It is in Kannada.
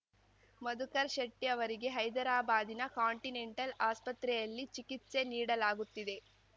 ಮಧುಕರ್‌ ಶೆಟ್ಟಿಅವರಿಗೆ ಹೈದರಾಬಾದಿನ ಕಾಂಟಿನೆಂಟಲ್‌ ಆಸ್ಪತ್ರೆಯಲ್ಲಿ ಚಿಕಿತ್ಸೆ ನೀಡಲಾಗುತ್ತಿದೆ